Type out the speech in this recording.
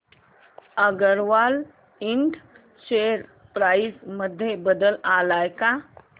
अगरवाल इंड share price मध्ये बदल आलाय का